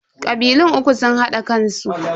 Kabilun uku sun hada kansu.